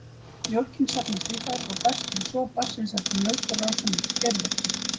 Mjólkin safnast í þær og berst við sog barns eftir mjólkurrásum út í geirvörtu.